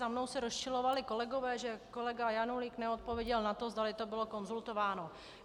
Za mnou se rozčilovali kolegové, že kolega Janulík neodpověděl na to, zdali to bylo konzultováno.